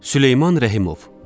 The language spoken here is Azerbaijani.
Süleyman Rəhimov.